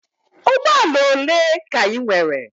Ụgbọ ala ole ka ị nwere?